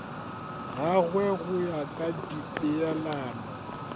gagwe go ya ka dipeelano